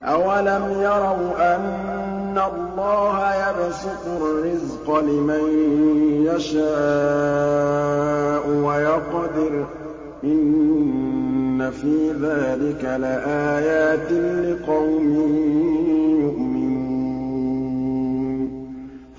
أَوَلَمْ يَرَوْا أَنَّ اللَّهَ يَبْسُطُ الرِّزْقَ لِمَن يَشَاءُ وَيَقْدِرُ ۚ إِنَّ فِي ذَٰلِكَ لَآيَاتٍ لِّقَوْمٍ يُؤْمِنُونَ